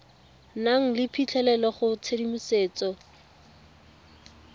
nang le phitlhelelo go tshedimosetso